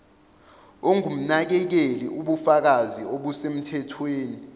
ongumnakekeli ubufakazi obusemthethweni